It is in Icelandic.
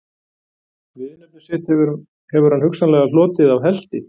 Viðurnefni sitt hefur hann hugsanlega hlotið af helti.